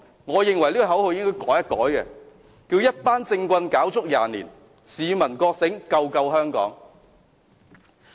我認為這口號應改為"一班政棍，搞足廿年；市民覺醒，救救香港"。